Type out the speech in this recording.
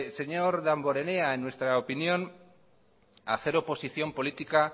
señor damborenea en nuestra opinión hacer oposición política